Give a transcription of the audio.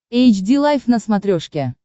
эйч ди лайф на смотрешке